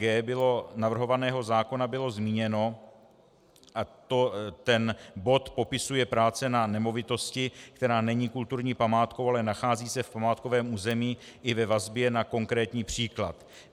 g) navrhovaného zákona bylo zmíněno, a ten bod popisuje práce na nemovitosti, která není kulturní památkou, ale nachází se v památkovém území i ve vazbě na konkrétní příklad.